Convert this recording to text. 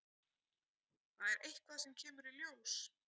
Það er eitthvað sem kemur í ljós.